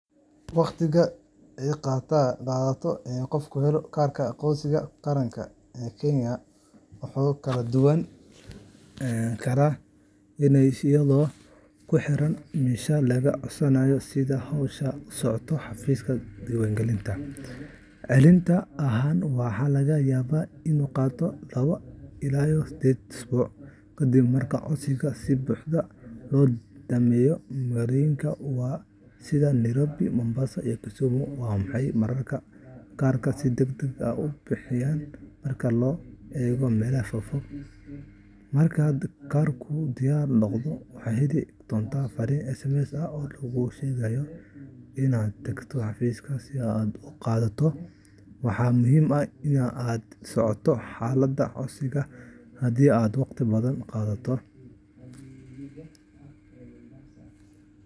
Waqtiga ay qaadato in qofku helo kaarka aqoonsiga qaranka ee Kenya wuu kala duwanaan karaa iyadoo ku xiran meesha laga codsaday iyo sida hawsha u socoto xafiiska diiwaangelinta. Celcelis ahaan, waxaa laga yaabaa in ay qaadato laba ilaa sided usbuuc kadib marka codsiga si buuxda loo dhammeeyo. Magaalooyinka waaweyn sida Nairobi, Mombasa iyo Kisumu, waxay mararka qaar kaarka si degdeg ah ku bixiyaan marka loo eego meelaha fogfog. Marka kaarkaagu diyaar noqdo, waxaad heli doontaa farriin SMS ah oo laguugu sheegayo in aad tagto xafiiska si aad u qaadato. Waxaa muhiim ah in aad la socoto xaaladda codsigaaga hadii uu waqti badan qaato.